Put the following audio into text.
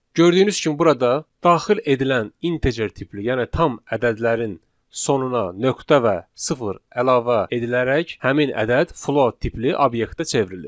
Gördüyünüz kimi burada daxil edilən integer tipli, yəni tam ədədlərin sonuna nöqtə və sıfır əlavə edilərək həmin ədəd float tipli obyektə çevrilir.